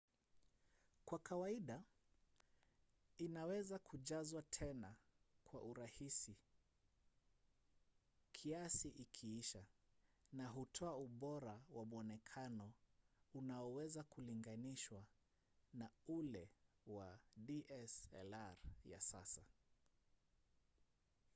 kwa kawaida inaweza kujazwa tena kwa urahisi kiasi ikiisha na hutoa ubora wa mwonekano unaoweza kulinganishwa na ule wa dslr ya sasa